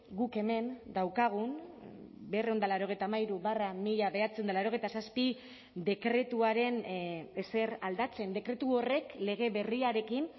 guk hemen daukagun berrehun eta laurogeita hamairu barra mila bederatziehun eta laurogeita zazpi dekretuaren ezer aldatzen dekretu horrek lege berriarekin